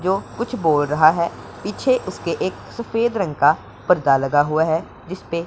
जो कुछ बोल रहा है पीछे उसके एक सफेद रंग का पर्दा लगा हुआ है जिसपे--